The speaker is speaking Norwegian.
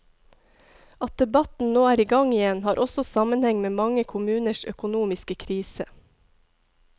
At debatten nå er i gang igjen, har også sammenheng med mange kommuners økonomiske krise.